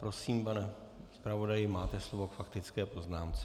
Prosím, pane zpravodaji, máte slovo k faktické poznámce.